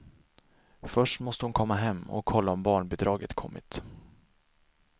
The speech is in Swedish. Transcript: Först måste hon hem och kolla om barnbidraget kommit.